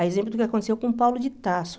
A exemplo do que aconteceu com Paulo de Tarso.